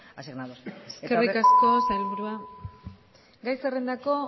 asignados eskerrik asko sailburua gai zerrendako